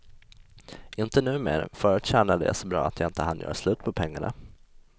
Inte numer, förut tjänade jag så bra att jag inte hann göra slut på pengarna.